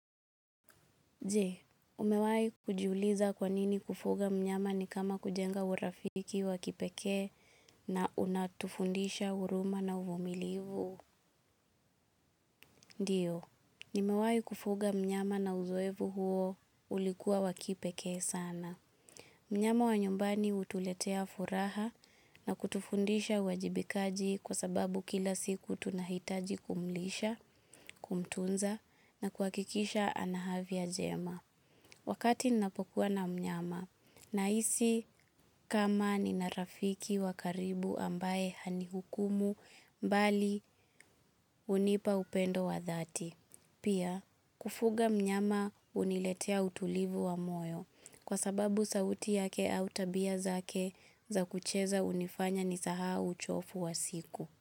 Je, umewai kujiuliza kwanini kufuga mnyama ni kama kujenga urafiki wakipeke na unatufundisha huruma na uvumilivu. Ndiyo, nimewai kufuga mnyama na uzoevu huo ulikuwa wakipeke sana. Mnyama wa nyumbani hutuletea furaha na kutufundisha uwajibikaji kwa sababu kila siku tunahitaji kumlisha, kumtunza na kuhakikisha ana afya jema. Wakati ninapokuwa na mnyama na hisi kama nina rafiki wakaribu ambaye hani hukumu mbali hunipa upendo wa dhati. Pia kufuga mnyama huniletea utulivu wa moyo kwa sababu sauti yake au tabia zake za kucheza unifanya nisahau uchovu wa siku.